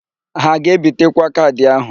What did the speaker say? Ha a ga-ebitekwa kaadị áhụ̀?